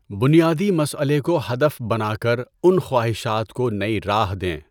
بنیادی مسئلے کو ہدف بنا کر ان خواہشات کو نئی راہ دیں۔